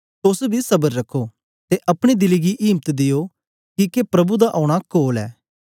तोस बी स्बर रखो ते अपने दिले गी इम्त दियो किके प्रभु दा औना कोल ऐ